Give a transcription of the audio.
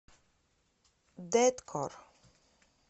дэткор